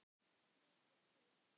Mikið hlegið.